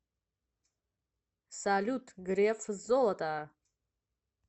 салют греф золото